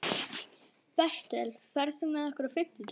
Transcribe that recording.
Bertel, ferð þú með okkur á fimmtudaginn?